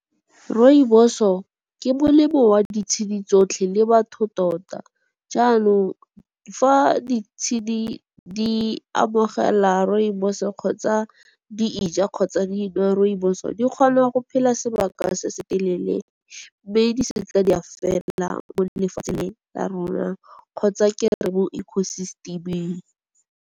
Rooibos-o ke o a ditshedi tsotlhe le batho tota, jaanong fa di tshedi di amogela rooibos-o kgotsa di e ja kgotsa dinwa rooibos-o, di kgona go phela sebaka se se telele, mme di se ke di a fela mo lefatsheng la rona kgotsa ke re mo eco system-eng.